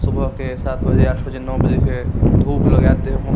सुबह के सात बजे आठ बजे नो बजे के धुप लगा हे देह मो --